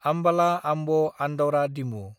आमबाला–आम्ब आन्दाउरा डिमु